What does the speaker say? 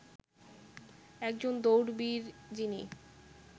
একজন দৌড়বীর যিনি